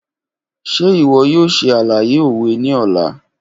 Ṣe iwọ yoo ṣe alaye owe ni ọla?